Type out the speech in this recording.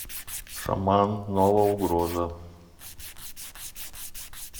шаман новая угроза